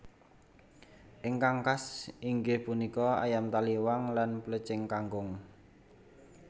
Ingkang khas inggih punika Ayam taliwang lan Plecing kangkung